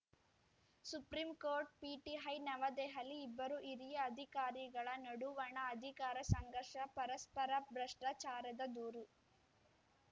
supreme court PTI Navadehali ಇಬ್ಬರು ಹಿರಿಯ ಅಧಿಕಾರಿಗಳ ನಡುವಣ ಅಧಿಕಾರ ಸಂಘರ್ಷ ಪರಸ್ಪರ ಭ್ರಷ್ಟಾಚಾರದ ದೂರು